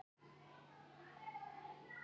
Hann tók það fram að ég fengi engin laun á meðan.